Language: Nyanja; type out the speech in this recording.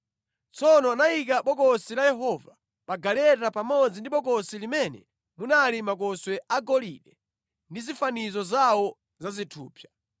Tsono anayika Bokosi la Yehova pa galeta pamodzi ndi bokosi limene munali makoswe agolide ndi zifanizo zawo za zithupsa.